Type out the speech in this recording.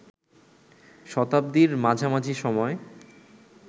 শতাব্দীর মাঝামাঝি সময়